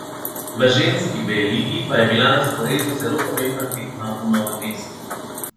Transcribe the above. V ženski B ligi pa je bila na sporedu zelo pomembna tekma v Novem mestu.